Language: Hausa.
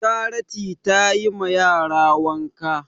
Charity tayi ma yara wanka